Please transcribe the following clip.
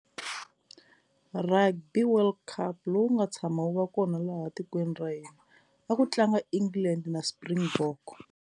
Rugby World Cup lowu nga tshama wu va kona laha tikweni ra hina a ku tlanga England na Springbok.